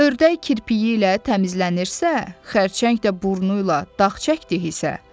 Ördək kirpiyi ilə təmizlənirsə, xərçəng də burnuyla dağ çəkdi isə,